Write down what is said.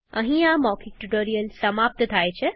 અહીં આ મૌખિક ટ્યુટોરીયલ સમાપ્ત થાય છે